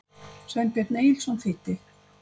Sveinbjörn Egilsson þýddi.